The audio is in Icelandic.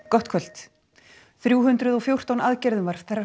gott kvöld þrjú hundruð og fjórtán aðgerðum var